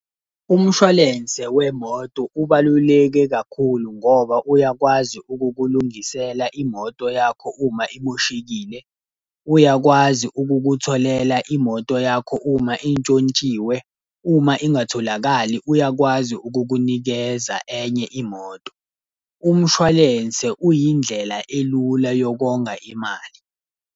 Umshwalense wemoto ubaluleke kakhulu ngoba uyakwazi ukukulungisela imoto yakho uma imoshekile. Uyakwazi ukukutholela imoto yakho uma intshontshiwe, uma ingatholakali uyakwazi ukukunikeza enye imoto. Umshwalense uyindlela elula yokonga imali.